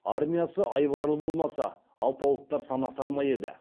армиясы айбарлы болмаса алпауыттар санасар ма еді